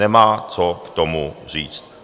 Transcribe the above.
Nemá co k tomu říct.